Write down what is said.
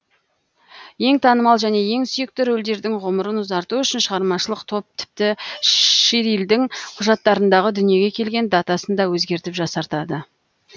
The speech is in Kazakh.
ең танымал және ең сүйікті рольдердің ғұмырын ұзарту үшін шығармашылық топ тіпті ширлидің құжаттарындағы дүниеге келген датасын да өзгертіп жасартады